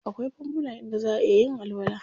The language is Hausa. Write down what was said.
Akwai fanfuna inda zaʼa iya yin alwala.